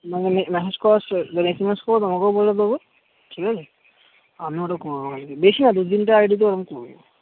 না মানে massage করার স মানে SMS করে তোমাকে ও বলে দেব ঠিক আছে আমি ও ওটা করে নেব বেশি না দু তিনটা ID তে ওটা করে নেব